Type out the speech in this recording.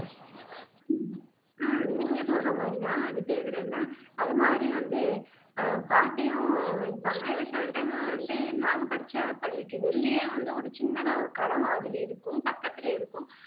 ஆஹ் நீங்க சொல்ற மாதிரிதான் அது பேர் என்ன அது மாதிரி வந்து அஹ் பாட்டியும் இருப்பாங்க சில time வந்து நாங்க படிச்ச பள்ளிக்கு வெளியே வந்து ஒரு சின்னதா ஒரு கடை மாதிரி இருக்கும் பக்கத்திலேயே இருக்கும்